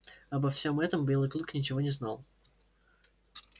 обо всём этом белый клык ничего не знал